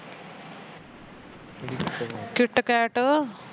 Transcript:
kitcat